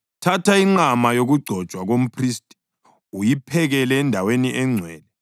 Thatha inqama yokugcotshwa komphristi uyiphekele endaweni engcwele.